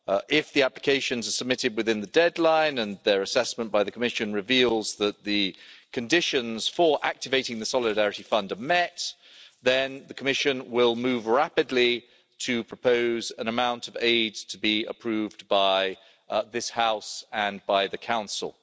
If the applications are submitted within the deadline and their assessment by the Commission reveals that the conditions for activating the Solidarity Fund are met then the Commission will move rapidly to propose an amount of aid to be approved by this House and by the Council.